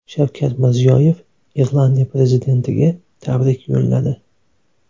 Shavkat Mirziyoyev Irlandiya prezidentiga tabrik y o‘lladi.